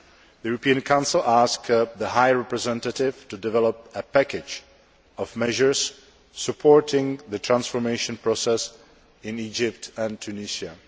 The European Council asked the High Representative to develop a package of measures supporting the transformation process in Egypt and Tunisia.